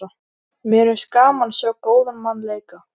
Mér finnst gaman að sjá góðan mann leika.